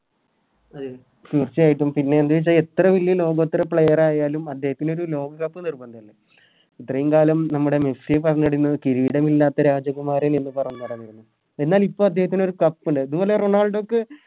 തീർച്ചയായിട്ടും പിന്നെ എന്താച്ചാ എത്ര വലിയ ലോകോത്തര Player ആയാലും അദ്ദേഹത്തിനൊരു ലോകകപ്പ് നിർബന്ധല്ലേ ഇത്രയും കാലം നമ്മുടെ മെസ്സി ന്നു കിരീടമില്ലാത്ത രാജകുമാരൻ എന്ന് പറഞ്ഞ് നടന്നിരുന്നു എന്നാൽ ഇപ്പൊ അദ്ദേഹത്തിനൊരു കപ്പ് ഉണ്ട് നിങ്ങടെ റൊണാൾഡോക്ക്